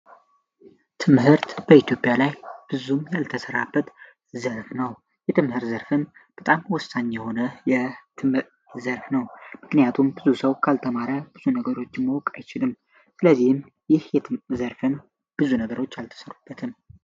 ትምህርት በኢትዮጵያ ላይ ብዙም ያልተሰራበት ዘፍ ነው። ትምህርት ዘርፍ በጣም ወሳኝ የሆነ ትምህርት ዘርፍ ምክንያቱም ብዙ ሰው ካልተማርብዙ ነገሮችን ማወቅ አይችልም። ስለዚህም ይህ ትምህርት ዘርፍ ብዙ ነገሮች አልተሰሩበትንም።